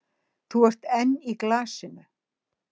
Þú ert enn í glasinu?